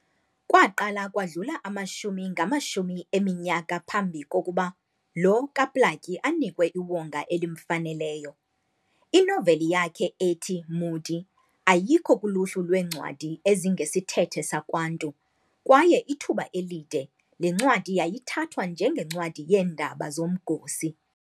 Kwaqala kwadlula amashumi ngamashumi eminyaka phambi kokuba lo kaPlaatji anikwe iwonga elimfaneleyo. Inoveli yakhe ethi"Mhudi" ayikho kuluhlu lwencwadi ezingesithethe sakwantu, kwaye ithuba elide le ncwadi yayithathwa nje ngencwadi yeendaba zomgosi."